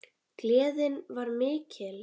Gleðin var mikil.